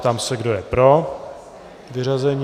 Ptám se, kdo je pro vyřazení.